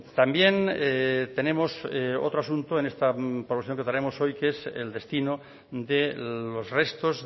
también tenemos otro asunto en esta proposición que traemos hoy que es el destino de los restos